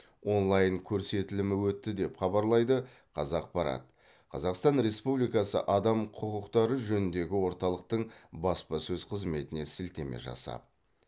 онлайн көрсетілімі өтті деп хабарлайды қазақпарат қазақстан республикасы адам құқықтары жөніндегі орталықтың баспасөз қызметіне сілтеме жасап